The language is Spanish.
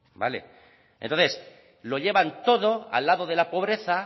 entonces lo llevan todo al lado de la pobreza